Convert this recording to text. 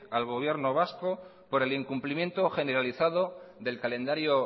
al gobierno vasco por el incumplimiento generalizado del calendario